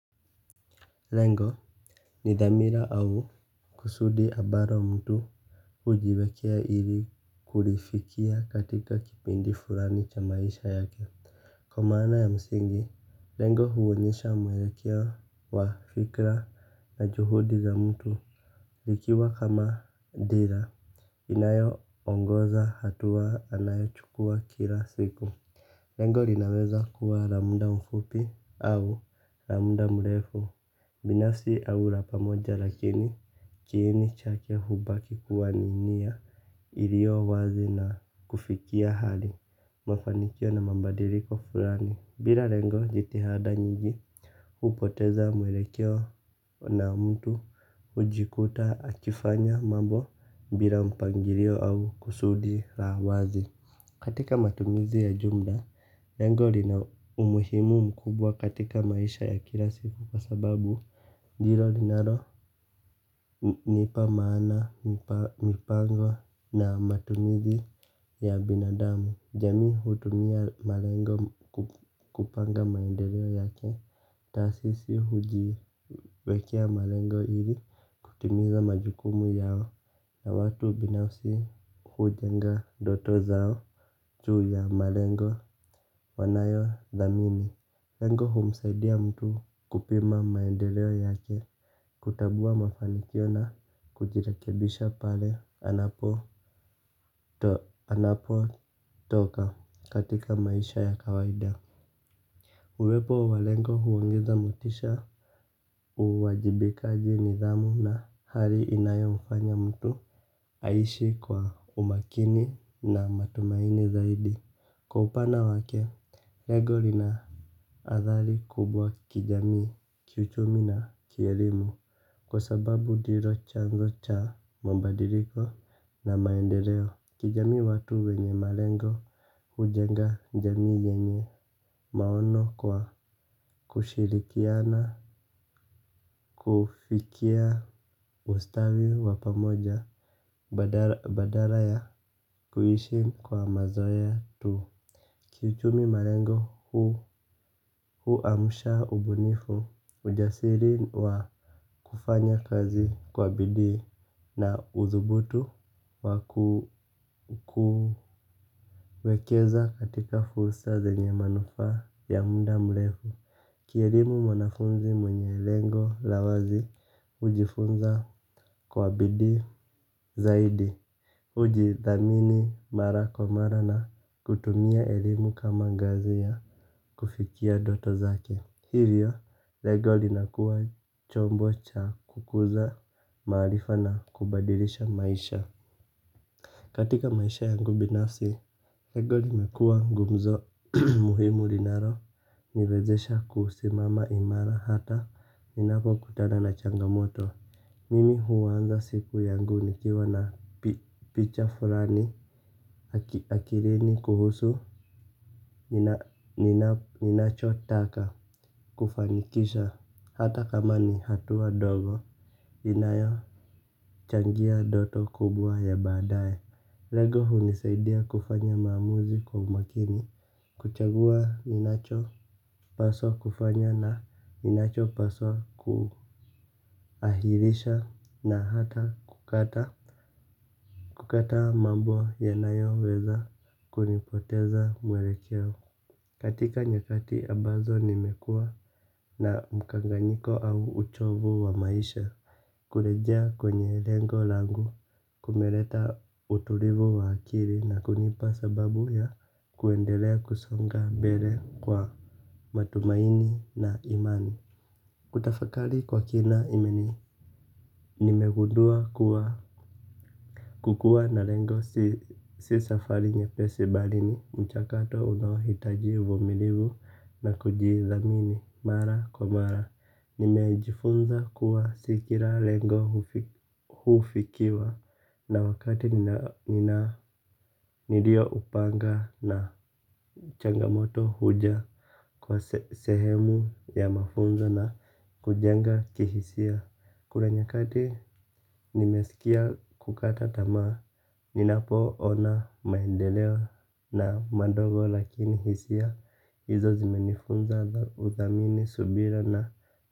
Lengo ni dhamira au kusudi abaro mtu hujiwekea ili kulifikia katika kipindi furani cha maisha yake. Kwa maana ya msingi, lengo huonyesha mwelekeo wa fikra na juhudi za mtu. Likiwa kama dira inayo ongoza hatua anayo chukua kila siku. Lengo rinaweza kuwa ra muda mfupi au ra mda mrefu. Binafsi au ra pamoja lakini kiini chake hubaki kuwa ni nia iliyo wazi na kufikia hali. Mafanikio na mabadiriko furani. Bila rengo jitihada nyingi hupoteza mwelekeo na mtu hujikuta akifanya mambo bila mpangirio au kusudi la wazi. Katika matumizi ya jumla, lengo lina umuhimu mkubwa katika maisha ya kila siku kwa sababu ndilo linalo nipa maana mipango na matumizi ya binadamu, jamii hutumia malengo kupanga maendeleo yake. Taasisi hujiwekea malengo ili kutimiza majukumu yao na watu binafsi hujenga ndoto zao juu ya malengo wanayo dhamini. Lengo humsaidia mtu kupima maendeleo yake. Kutabua mafanikio na kujirekebisha pale anapo anapo toka katika maisha ya kawaida. Uwepo wa lengo huongeza motisha uwajibikaji nidhamu na hali inayo mfanya mtu aishi kwa umakini na matumaini zaidi. Kwa upana wake, lego rina athali kubwa kijamii kiuchumi na kielimu. Kwa sababu diro chanzo cha mabadiliko na maendeleo. Kijami watu wenye marengo hujenga njamii yenye maono kwa kushirikiana. Kufikia ustawi wa pamoja badala ya kuishi kwa mazoea tu. Kiuchumi malengo huu amsha ubunifu ujasiri wa kufanya kazi kwa bidii na uthubutu wa kuekeza katika fursa zenye manufaa ya muda mlefu. Kielimu mwanafunzi mwenye lengo lawazi hujifunza kwa bidii zaidi. Hujidhamini mara kwa mara na kutumia elimu kama ngazi ya kufikia doto zake. Hivyo, lego linakuwa chombo cha kukuza maarifa na kubadirisha maisha. Katika maisha yangu binafsi lengo limekuwa gumzo muhimu linalo niwezesha kusimama imara hata ninapo kutana na changamoto. Mimi huanza siku yangu nikiwa na picha fulani akilini kuhusu ninacho taka kufanikisha hatakama ni hatua ndogo inayo changia doto kubwa ya baadaye lengo hunisaidia kufanya maamuzi kwa umakini. Kuchagua ninacho paswa kufanya na ninacho paswa kuahirisha na hata kukata. Kukataa mambo yanayo weza kunipoteza mwelekeo. Katika nyakati abazo nimekua na mkanganyiko au uchovu wa maisha. Kulejea kwenye lengo langu kumeleta utulivu wa akili na kunipa sababu ya kuendelea kusonga mbele kwa matumaini na imani. Kutafakali kwa kina imeni, nimegudua kukua na lengo si safari nyepesi bali ni, mchakato unaohita vumilivu na kujithamini mara kwa mara. Nimejifunza kuwa sikira lengo hufikiwa na wakati nilio upanga na changamoto huja kwa sehemu ya mafunza na kujenga kihisia. Kule nyakati nimesikia kukata tamaa. Ninapo ona maendeleo na madogo lakini hisia. Hizo zimenifunza uthamini subira na.